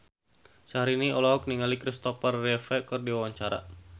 Syahrini olohok ningali Christopher Reeve keur diwawancara